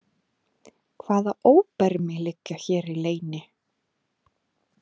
Hvaða óbermi liggja hér í leyni?